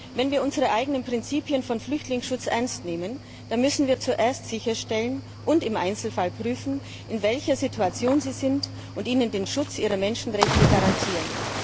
Wenn wir unsere eigenen Prinzipien von Flüchtlingsschutz ernst nehmen, müssen wir zuerst sicherstellen und im Einzelfall prüfen, in welcher Situation sie sind, und ihnen den Schutz ihrer Menschenrechte garantieren.